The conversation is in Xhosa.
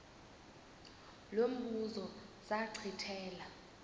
lo mbuzo zachithela